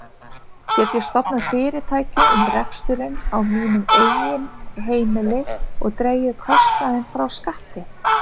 Get ég stofnað fyrirtæki um reksturinn á mínu eigin heimili og dregið kostnaðinn frá skatti?